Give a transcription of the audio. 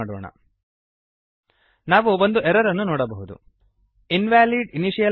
invalid initializer and expected identifier or bracket before numeric constant